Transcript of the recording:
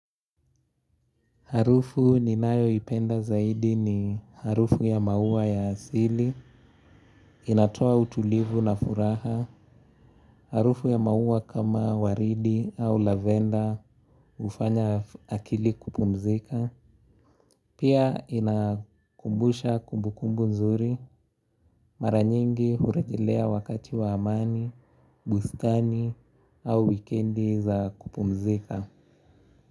Harufu ninayo ipenda zaidi ni harufu ya maua ya asili, inatoa utulivu na furaha, harufu ya maua kama waridi au lavenda hufanya akili kupumzika. Pia inakumbusha kumbukumbu nzuri, mara nyingi hurejelea wakati wa amani, bustani au wikendi za kupumzika.